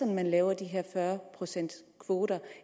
når man laver de her fyrre procents kvoter